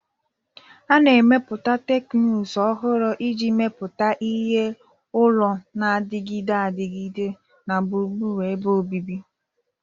A na-emepụta teknụzụ ọhụrụ iji mepụta ihe ụlọ na-adịgide adịgide na gburugburu ebe obibi